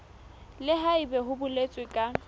le haebe ho boletswe ka